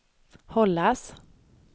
hållas